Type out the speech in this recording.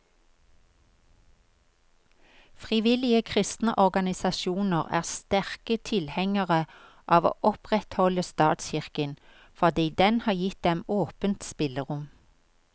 Frivillige kristne organisasjoner er sterke tilhengere av å opprettholde statskirken, fordi den har gitt dem åpent spillerom.